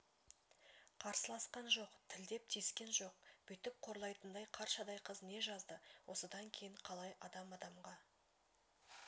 қарсыласқан жоқ тілдеп тиіскен жоқ бүйтіп қорлайтындай қаршадай қыз не жазды осыдан кейін қалай адам адамға